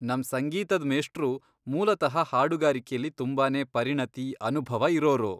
ನಮ್ ಸಂಗೀತದ್ ಮೇಷ್ಟ್ರು ಮೂಲತಃ ಹಾಡುಗಾರಿಕೆಲಿ ತುಂಬಾನೇ ಪರಿಣತಿ, ಅನುಭವ ಇರೋರು.